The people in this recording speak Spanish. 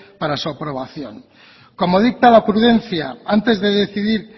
para su aprobación como dicta la prudencia antes de decidir